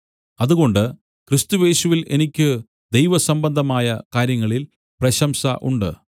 അതുകൊണ്ട് ക്രിസ്തുയേശുവിൽ എനിക്ക് ദൈവസംബന്ധമായ കാര്യങ്ങളിൽ പ്രശംസ ഉണ്ട്